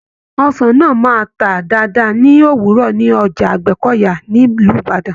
Ọsàn náà máa tà dáadáa ni òwúrọ̀ ni Ọjà Àgbẹ́kọ̀yà ni Ìlú Ìbàdàn